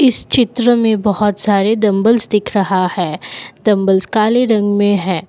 इस चित्र में बहोत सारे डंबल्स दिख रहा है डंबल्स काले रंग में है।